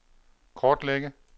kortlægge